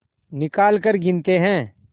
निकालकर गिनते हैं